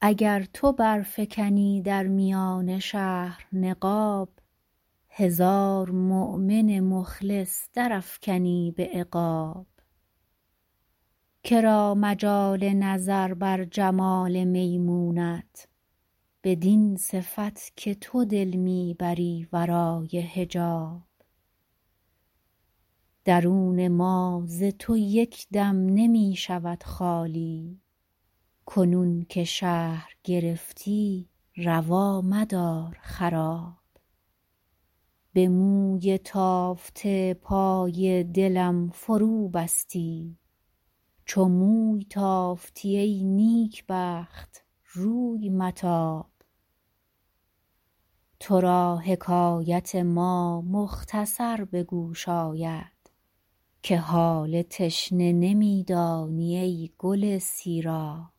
اگر تو برفکنی در میان شهر نقاب هزار مؤمن مخلص درافکنی به عقاب که را مجال نظر بر جمال میمونت بدین صفت که تو دل می بری ورای حجاب درون ما ز تو یک دم نمی شود خالی کنون که شهر گرفتی روا مدار خراب به موی تافته پای دلم فروبستی چو موی تافتی ای نیکبخت روی متاب تو را حکایت ما مختصر به گوش آید که حال تشنه نمی دانی ای گل سیراب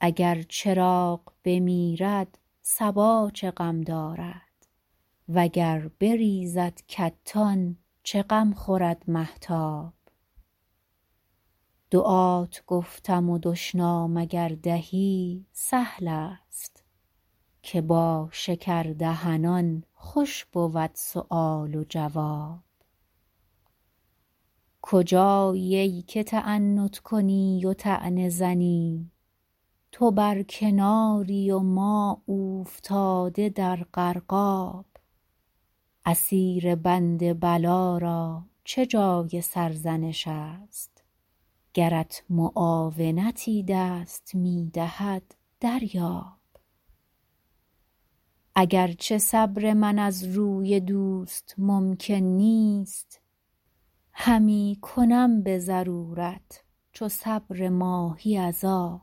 اگر چراغ بمیرد صبا چه غم دارد و گر بریزد کتان چه غم خورد مهتاب دعات گفتم و دشنام اگر دهی سهل است که با شکردهنان خوش بود سؤال و جواب کجایی ای که تعنت کنی و طعنه زنی تو بر کناری و ما اوفتاده در غرقاب اسیر بند بلا را چه جای سرزنش است گرت معاونتی دست می دهد دریاب اگر چه صبر من از روی دوست ممکن نیست همی کنم به ضرورت چو صبر ماهی از آب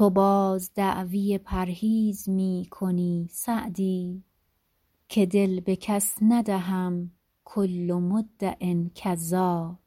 تو باز دعوی پرهیز می کنی سعدی که دل به کس ندهم کل مدع کذاب